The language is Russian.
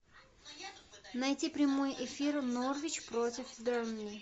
найти прямой эфир норвич против бернли